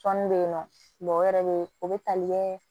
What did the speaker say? Tɔnni bɛ yen nɔ o yɛrɛ bɛ yen o bɛ tali kɛɛ